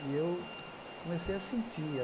E eu comecei a sentir.